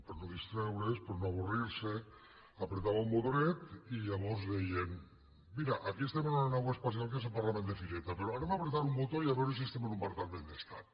per no distreure’s per no avorrir se pitjava un botonet i llavors deien mira aquí estem en una nau espacial que és el parlament de fireta però anem pitjar un botó i a veure si estem en un parlament d’estat